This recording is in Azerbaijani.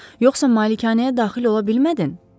Yoxsa malikanəyə daxil ola bilmədin?